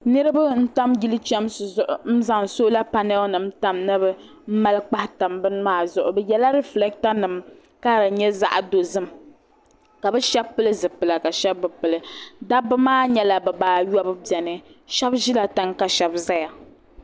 niraba n tam yili chɛmsi zuɣu n zaŋ soola panɛl nim ni bi mali kpahi tam bini maa zuɣu di nyɛla rifilɛkta nim ka di nyɛ zaɣ dozim ka bi shab pili zipila ka shab bi pili dabba maa nyɛla bibaayobu biɛni shab ʒila tiŋ ka shab ʒɛya